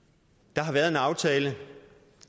der har været en aftale og